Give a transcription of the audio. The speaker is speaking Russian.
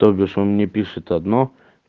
то бишь он мне пишет одно